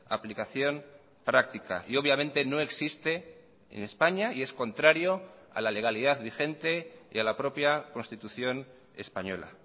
aplicación práctica y obviamente no existe en españa y es contrario a la legalidad vigente y a la propia constitución española